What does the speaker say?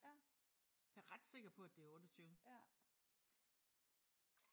Ja. Jeg er ret sikker på at det er 28